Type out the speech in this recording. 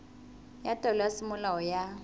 ya taelo ya semolao ya